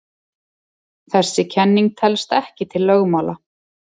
Þessi kenning telst ekki til lögmála.